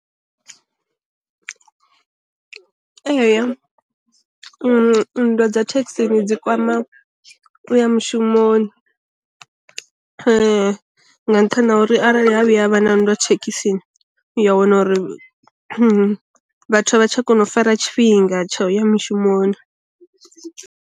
Eya nndwa dza thekhisini dzi kwama u ya mushumoni nga nṱhani uri arali ha vhuya havha na nndwa thekhisini, u ya wana uri vhathu a vha tsha kona u fara tshifhinga tsha uya mishumoni.